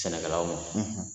Sɛnɛkɛlaw ma.